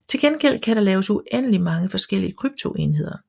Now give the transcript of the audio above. Til gengæld kan der laves uendelig mange forskellige kryptoenheder